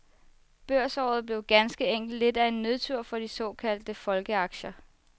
Børsåret blev ganske enkelt lidt af en nedtur for de såkaldte folkeaktier.